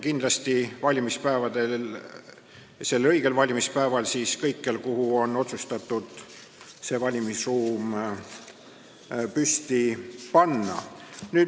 Kindlasti on sellel õigel valimispäeval hääletusruumid avatud kõikjal, kus nad on otsustatud püsti panna.